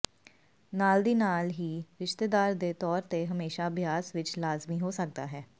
ਨਾਲ ਦੀ ਨਾਲ ਹੀ ਰਿਸ਼ਤੇਦਾਰ ਦੇ ਤੌਰ ਤੇ ਹਮੇਸ਼ਾ ਅਭਿਆਸ ਵਿੱਚ ਲਾਜ਼ਮੀ ਹੋ ਸਕਦਾ ਹੈ